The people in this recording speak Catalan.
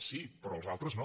sí però els altres no